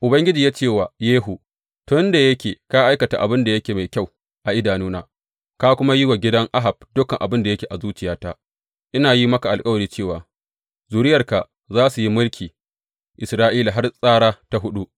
Ubangiji ya ce wa Yehu, Tun da yake ka aikata abin da yake mai kyau a idanuna, ka kuma yi wa gidan Ahab dukan abin da yake a zuciyata, ina yin maka alkawari cewa zuriyarka za su yi mulkin Isra’ila har tsara ta huɗu.